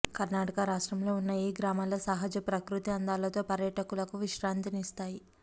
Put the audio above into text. కర్నాటక రాష్ట్రంలో ఉన్న ఈ గ్రామాలు సహజ ప్రకృతి అందాలతో పర్యాటకులకు విశ్రాంతినిస్తాయి